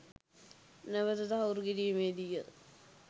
නැවත තහවුරු කිරීමේ දී ය.